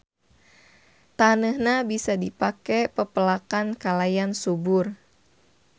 Taneuhna bisa dipake pepelakan kalayan subur.